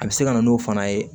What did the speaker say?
A bɛ se ka na n'o fana ye